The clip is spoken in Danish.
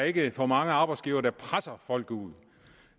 ikke for mange arbejdsgivere der presser folk ud